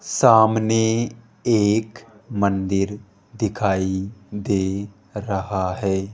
सामने एक मंदिर दिखाई दे रहा है।